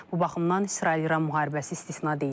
Bu baxımdan İsrail-İran müharibəsi istisna deyil.